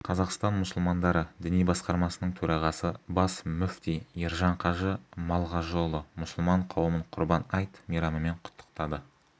қазақстан мұсылмандары діни басқармасының төрағасы бас мүфти ержан қажы малғажыұлы мұсылман қауымын құрбан айт мейрамымен құттықтады